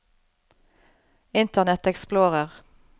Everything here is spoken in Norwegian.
internet explorer